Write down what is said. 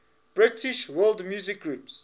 british world music groups